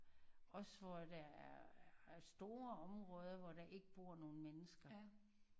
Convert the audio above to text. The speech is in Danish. Også hvor der er er store områder hvor der ikke bor nogen mennesker